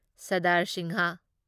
Sardar Singh